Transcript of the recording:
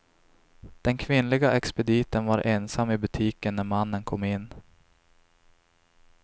Den kvinnliga expediten var ensam i butiken när mannen kom in.